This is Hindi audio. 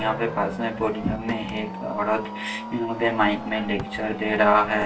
यहां पे पर्सनल के सामने एक औरत यहां पे माईक में लेक्चर दे रहा है।